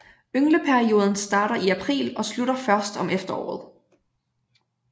Yngleperioden starter i april og slutter først om efteråret